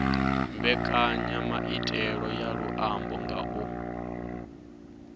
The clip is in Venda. mbekanyamaitele ya luambo nga u